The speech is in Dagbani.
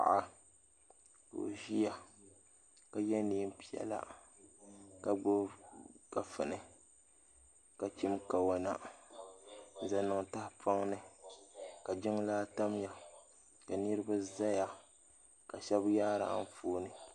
Paɣa ka o ziya ka ye nɛɛn piɛlla ka gbubi kafuni ka chim kawona m zaŋ niŋ tahipɔŋ ni ka jiŋlaa tamiya ka niriba zaya ka shɛba yaari anfooni.